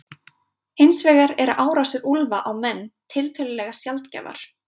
hins vegar eru árásir úlfa á menn tiltölulega sjaldgæfar